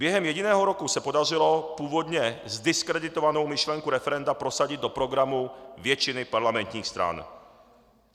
Během jediného roku se podařilo původně zdiskreditovanou myšlenku referenda prosadit do programu většiny parlamentních stran.